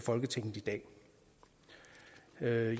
folketinget i dag